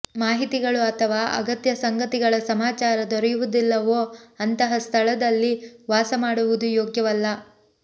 ಮಾಹಿತಿಗಳು ಅಥವಾ ಅಗತ್ಯ ಸಂಗತಿಗಳ ಸಮಾಚಾರ ದೊರೆಯುವುದಿಲ್ಲವೋ ಅಂತಹ ಸ್ತಳದಲ್ಲಿ ವಾಸ ಮಾಡುವುದು ಯೋಗ್ಯವಲ್ಲ